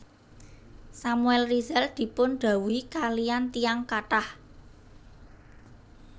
Samuel Rizal dipun dhawuhi kaliyan tiyang kathah